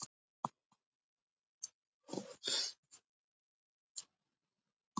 Við treystum viðkomandi fyrir hugsunum okkar, gleði og sorgum, vonum og áhyggjum.